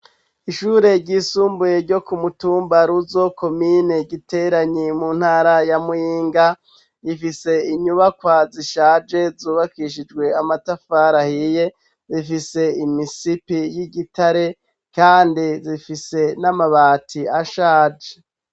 Ishure ryisumbuye ryo ku mutumbaruzo komine giteranyi mu ntara ya muhinga yifise inyubakwa zishaje zubakishijwe amatafarahiye zifise imisipi y'igitare kandi zifise n'amabati ashaje.